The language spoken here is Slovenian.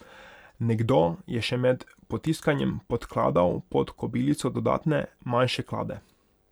Nekdo je še med potiskanjem podkladal pod kobilico dodatne, manjše klade.